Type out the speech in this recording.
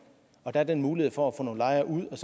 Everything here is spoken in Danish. og der er den mulighed for at få nogle lejere ud og